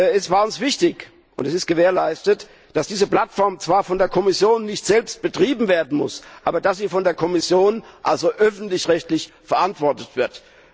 Es war uns wichtig und es ist gewährleistet, dass diese Plattform zwar von der Kommission nicht selbst betrieben werden muss, aber dass sie von der Kommission, also öffentlich rechtlich, verantwortet wird.